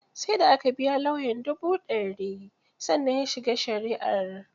Sai da aka biya lauyan dubu ɗari, sannan ya shiga shari'ar